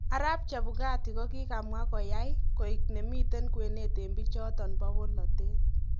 Arap Chebukati kokikamwa koyai koik nemiten kwenet eng bichoton bo bolotet.